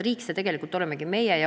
Riik, see tegelikult olemegi meie.